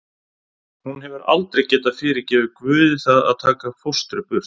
Hún hefur aldrei getað fyrirgefið Guði það að taka fóstru burt.